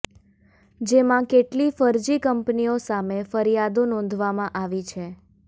જેમાં કેટલી ફરજી કંપનીઓ સામે ફરિયાદો નોંધવામાં આવી છે